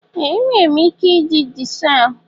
Ee! Enwere m ike iji chisel.